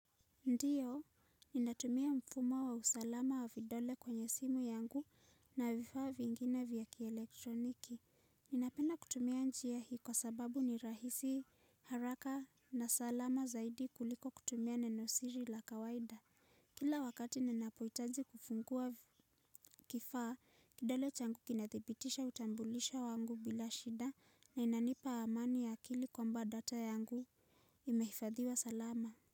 Ndiyo, ninatumia mfumo wa usalama wa vidole kwenye simu yangu na vifaa vingine vya kielektroniki. Ninapedna kutumia njia hii kwa sababu ni rahisi haraka na salama zaidi kuliko kutumia nenosiri la kawaida. Kila wakati ninapohitaji kufungua kifaa, kidole changu kinathibitisha utambulisho wangu bila shida na inanipa amani ya akili kwamba data yangu imehifadhiwa salama.